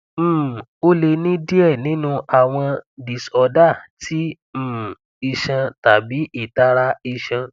um o le ni diẹ ninu awọn diorder ti um iṣan tabi itara iṣan